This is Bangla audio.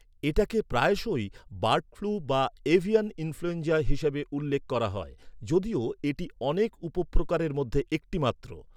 এটাকে প্রায়শই "বার্ড ফ্লু" বা "এভিয়ান ইনফ্লুয়েঞ্জা" হিসাবে উল্লেখ করা হয়, যদিও এটি অনেক উপপ্রকারের মধ্যে একটি মাত্র।